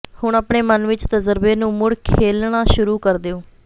ਹੁਣ ਆਪਣੇ ਮਨ ਵਿਚ ਤਜਰਬੇ ਨੂੰ ਮੁੜ ਖੇਲਣਾ ਸ਼ੁਰੂ ਕਰ ਦਿਓ